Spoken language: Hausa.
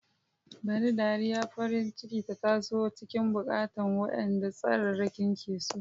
Bari dariyar farin ciki ta taso a cikin bukukuwan, waɗanda tsararraki ke so.